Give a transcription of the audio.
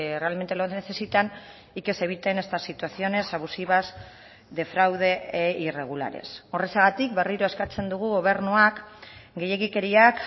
realmente lo necesitan y que se eviten estas situaciones abusivas de fraude e irregulares horrexegatik berriro eskatzen dugu gobernuak gehiegikeriak